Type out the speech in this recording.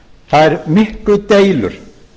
þær miklu deilur